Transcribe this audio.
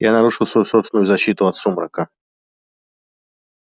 я нарушил свою собственную защиту от сумрака